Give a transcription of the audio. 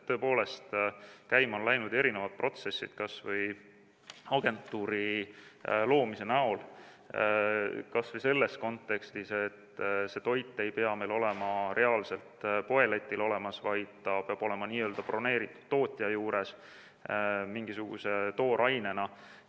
Tõepoolest, käima on läinud erinevad protsessid, kas või agentuuri loomise näol, kas või selles kontekstis, et see toit ei pea olema reaalselt poeletil olemas, vaid ta peab olema broneeritud tootja juures mingisuguse toorainena.